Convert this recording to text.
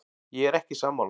Ég er ekki sammála.